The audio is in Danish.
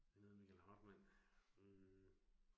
Han hedder Michael Hartmann, øh